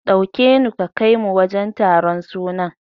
Ɗauke nu ka kaimu wajen taron sunan.